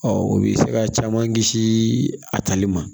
o bɛ se ka caman kisi a tali ma